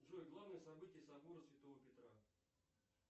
джой главные события собора святого петра